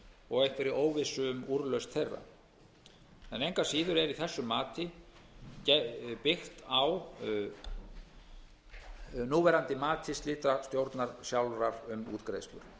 og einhverri óvissu um úrlausn þeirra engu að síður er í þessu mati byggt á núverandi mati slitastjórnar sjálfrar um útgreiðslur